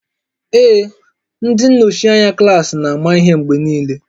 Ee, ndị nnọchi anya klaasị na-ama ihe mgbe niile